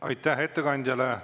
Aitäh ettekandjale!